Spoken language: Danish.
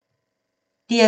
DR2